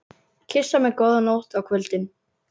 Kyssa mig góða nótt á kvöldin?